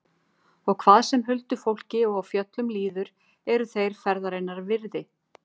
Og hvað sem huldufólki og fjöllum líður eru þeir vel ferðarinnar virði.